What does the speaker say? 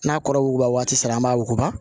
N'a kɔrɔ wuguba waati sera an b'a wuguba